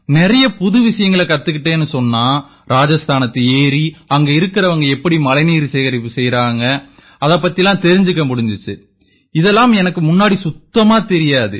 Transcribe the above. நிறைய புது விஷயங்களைக் கத்துக்கிட்டேன்னு சொன்னா ராஜஸ்தானத்து ஏரி அங்க இருக்கறவங்க எப்படி மழைநீர் சேகரிப்பை செய்யறாங்க இது பத்தி தெரிஞ்சுக்க முடிஞ்சுது இது எனக்கு முன்ன சுத்தமா தெரியாது